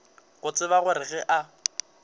go tseba gore ge a